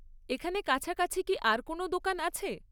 এখানে কাছাকাছি কি আর কোনও দোকান আছে?